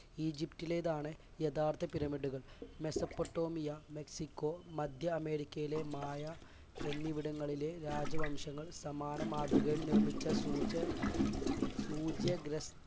ഈജിപ്തിലേതാണ് യഥാർത്ഥ പിരമിഡുകൾ Mesopotamia, Mexico, മധ്യ അമേരിക്കയിലെ മായ എന്നിവിടങ്ങളിലെ രാജവംശങ്ങൾ സമാനമാതൃകയിൽ നിർമ്മിച്ച